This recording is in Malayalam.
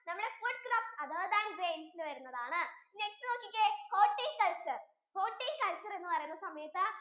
നമ്മുടെ food crops other than grains യിൽ വരുന്നതാണ് next നോക്കിക്കേ horticulcture, horticulture എന്ന് പറയുന്ന സമയത്തു